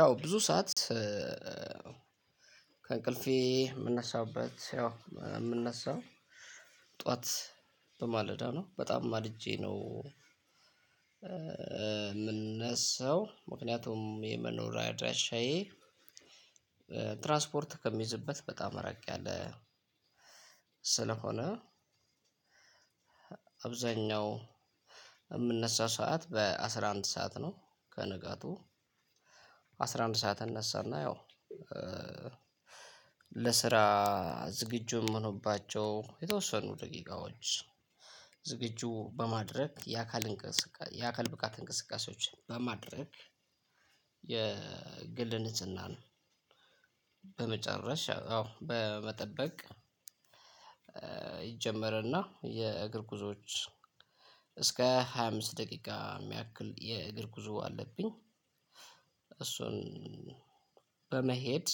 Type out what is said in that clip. ያው ብዙ ሰዓት ከእንቅልፌ የምነሳበት ያው የምነሳው ጠዋት በማለዳ ነው በጣም ማልጄ ነው የምንነሳው ምክንያቱም የመኖሪያ አድራሻዬ ትራንስፖርት ከሚይዝበት በጣም ረቅ ያለ ስለሆነ። አብዛኛው የምነሳ ሰዓት በአስራ አንድ ሰዓት ነው። ከንጋቱ አስራ አንድ ሰዓት እነሳና ያው ለስራ ዝግጁ የምሆንባቸው የተወሰኑ ደቂቃዎች ዝግጁ በማድረግ የአካል እንቅስቃሴ የአካል ብቃት እንቅስቃሴዎች በማድረግ የግል ንጽህና ነው። በመጨረሻ አዎ በመጠበቅ ይጀመርና የእግር ጉዞዎች እስከ ሃያ አምስት ደቂቃ የሚያክል የእግር ጉዞ አለብኝ። እሱን በመሄድ።